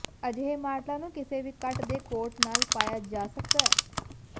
ਅਜਿਹੇ ਮਾਡਲਾਂ ਨੂੰ ਕਿਸੇ ਵੀ ਕੱਟ ਦੇ ਕੋਟ ਨਾਲ ਪਾਇਆ ਜਾ ਸਕਦਾ ਹੈ